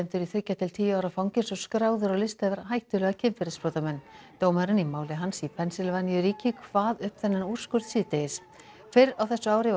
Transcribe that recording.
til tíu ára fangelsi og skráður á lista yfir hættulega kynferðisafbrotamenn dómarinn í máli hans í Pennsylvaníu ríki kvað upp þennan úrskurð síðdegis fyrr á þessu ári var